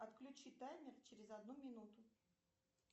отключи таймер через одну минуту